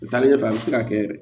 U taalen ɲɛfɛ a bɛ se ka kɛ yɛrɛ